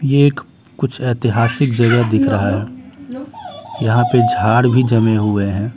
ये एक कुछ ऐतिहासिक जगह दिख रहा है यहां पे झाड़ भी जमे हुए हैं।